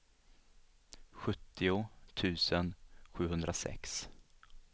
sjuttio tusen sjuhundrasex